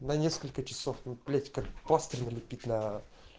на несколько часов ну блять как пластырь налепить на